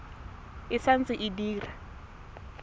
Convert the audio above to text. e sa ntse e dira